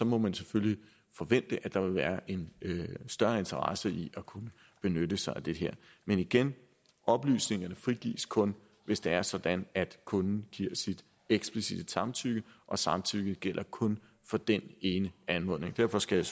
må man selvfølgelig forvente at der vil være en større interesse i at kunne benytte sig af det her men igen oplysningerne frigives kun hvis det er sådan at kunden giver sit eksplicitte samtykke og samtykket gælder kun for den ene anmodning derfor skal